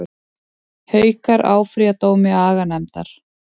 Haukar áfrýja dómi aganefndar